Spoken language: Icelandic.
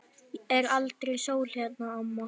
Er aldrei sól hérna, amma?